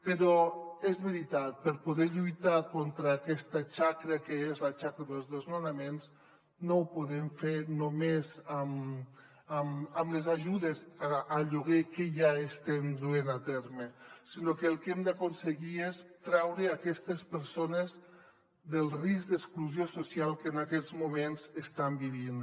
però és veritat per poder lluitar contra aquesta xacra que és la xacra dels desnonaments no ho podem fer només amb les ajudes al lloguer que ja estem duent a terme sinó que el que hem d’aconseguir és treure aquestes persones del risc d’exclusió social que en aquests moments estan vivint